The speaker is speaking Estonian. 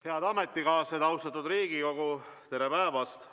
Head ametikaaslased, austatud Riigikogu, tere päevast!